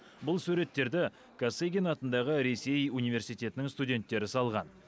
бұл суреттерді косыгин атындағы ресей университетінің студенттері салған